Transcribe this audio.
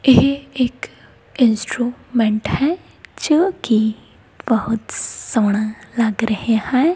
ਇਹ ਇੱਕ ਇੰਸਟਰੂਮੈਂਟ ਹੈ ਜੋ ਕਿ ਬਹੁਤ ਸੋਹਣਾ ਲੱਗ ਰਿਹਾ ਹੈ।